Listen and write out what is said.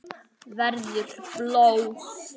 Verður blóð.